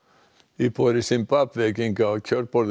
íbúar í Simbabve gengu að kjörborðinu